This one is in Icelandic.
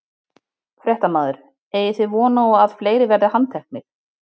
Fréttamaður: Eigið þið von á að fleiri verði handteknir?